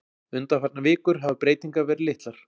Undanfarnar vikur hafi breytingar verið litlar